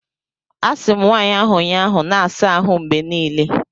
Asị m nwaanyị ahụ ụnyaahụ, na-asa ahụ mgbe niile!